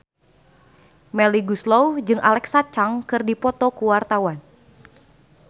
Melly Goeslaw jeung Alexa Chung keur dipoto ku wartawan